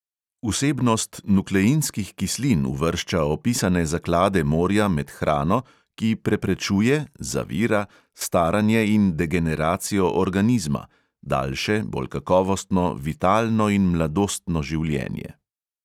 Vsebnost nukleinskih kislin uvršča opisane zaklade morja med hrano, ki preprečuje staranje in degeneracijo organizma (daljše, bolj kakovostno, vitalno in mladostno življenje).